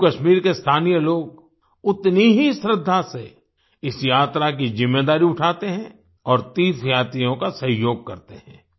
जम्मू कश्मीर के स्थानीय लोग उतनी ही श्रद्धा से इस यात्रा की ज़िम्मेदारी उठाते हैं और तीर्थयात्रियों का सहयोग करते हैं